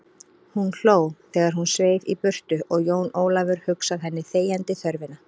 Hún hló þegar hún sveif í burtu og Jón Ólafur hugsað henni þegjandi þörfina.